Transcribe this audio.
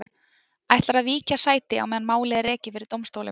Ætlarðu að víkja sæti á meðan málið er rekið fyrir dómstólum?